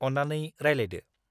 अन्नानै रायलायदो।